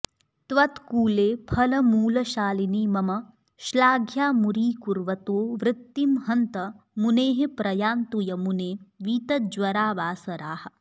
त्वत्कूले फलमूलशालिनि मम श्लाघ्यामुरीकुर्वतो वृत्तिं हन्त मुनेः प्रयान्तु यमुने वीतज्वरा वासराः